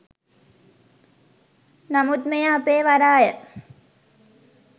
නමුත් මෙය අපේ වරාය